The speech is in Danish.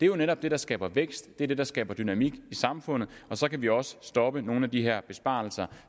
jo netop det der skaber vækst det er det der skaber dynamik i samfundet og så kan vi også stoppe nogle af de her besparelser